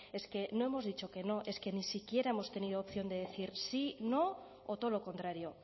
es que no hemos dicho que no es que ni siquiera hemos tenido opción de decir sí no o todo lo contrario